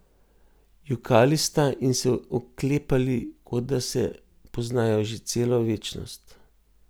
Jokali sta in se je oklepali, kot da se poznajo že celo večnost.